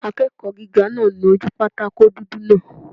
Akẹ́kọ̀ọ́ gíga náà nu ojú pátákó dúdú náà